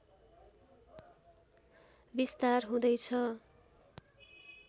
विस्तार हुँदैछ